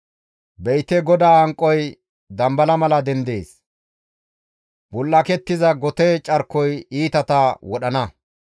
Be7ite GODAA hanqoy dambala mala dendees; bul7akettiza gote carkoy iitata wodhdhana.